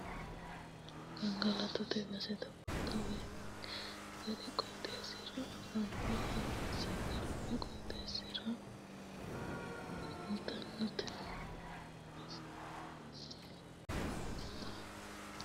Gangalattote base togotta waayi garbi qooxxeesira anfanni, hawaasi garbi qooxxeesira waayi coima agarano manna gaamenna yanna baalla biifisanohu heera hasiisano yee hedeemmo.